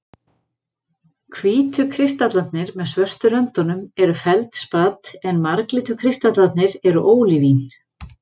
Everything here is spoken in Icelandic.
Hvítu kristallarnir með svörtu röndunum er feldspat, en marglitu kristallarnir eru ólívín.